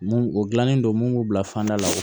Mun o dilannen don mun b'u bila fanda la